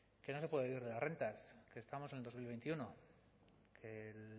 que no se puede vivir de las rentas que estamos en el dos mil veintiuno que el